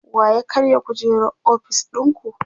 wa ya karya kujerar ofis ɗinku?